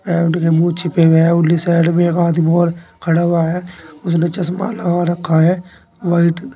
मुह छिपे है उनकी साइड मे एक आदमी और खड़ा हुआ है उसने चश्मा लगा रखा है व्हाईट--